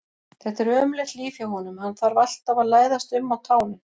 Þetta er ömurlegt líf hjá honum, hann þarf alltaf að læðast um á tánum.